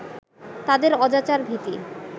তাদের অজাচার-ভীতি